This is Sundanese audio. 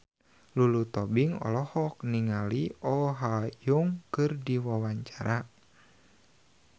Lulu Tobing olohok ningali Oh Ha Young keur diwawancara